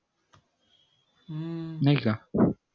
नई का